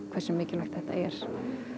hversu mikilvægt þetta er